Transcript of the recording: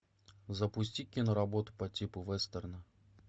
запусти киноработу по типу вестерна